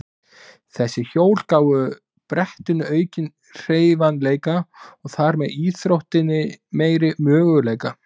Þessi hjól gáfu brettinu aukinn hreyfanleika og þar með íþróttinni meiri möguleika.